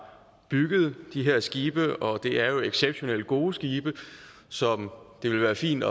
bygget de her skibe og det er jo exceptionelt gode skibe som det vil være fint